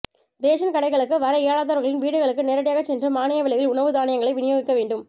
ration கடைகளுக்கு வர இயலாதவர்களின் வீடுகளுக்கு நேரடியாகச் சென்று மானிய விலையில் உணவு தானியங்களை விநியோகிக்க வேண்டும்